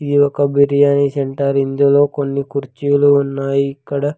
ఇది ఒక బిర్యానీ సెంటర్ ఇందులో కొన్ని కుర్చీలు ఉన్నాయి ఇక్కడ--